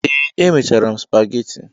Ee, emechara m spageti.